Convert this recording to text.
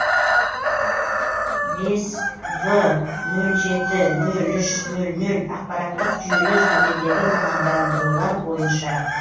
бес в нөл жеті нөл үш нөл нөл ақпараттық жүйелер төмендегі мамандандырулар бойынша